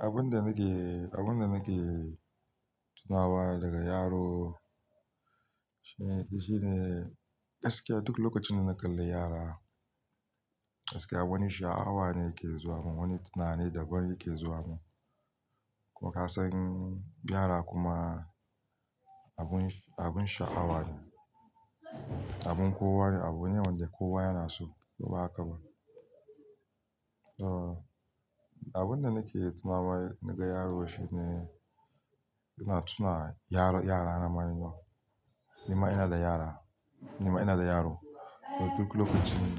Abin da nake, abin da nake tunawa daga yaro shine gaskiya duk lokacin da na kalla yara, gaskiya wani sha'awa ne ke zuwa mun, wani tunani daban yake zuwa mun. Ko ka san yara kuma abun, abun sha'awa ne, abun kowa ne, abu ne wanda kowa yana so ko ba haka ba. Abin da nake tunawa naga yaro shine ina tuna yara, yara na manya. Ni ma ina da yara, ni ma ina da yaro. Duk lokacin,